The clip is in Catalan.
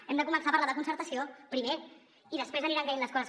hem de començar a parlar de concertació primer i després aniran caient les coses